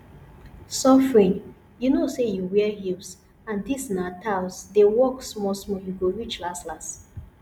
suffering you know say you wear heels and dis na tyles dey walk small small you go reach las las